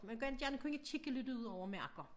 Men godt gerne kunne kigge lidt ud over marker